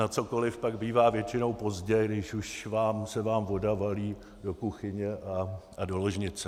Na cokoli pak bývá většinou pozdě, když už se vám voda valí do kuchyně a do ložnice.